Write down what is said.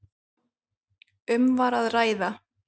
Um var að ræða